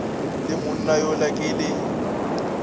le monna yola ke le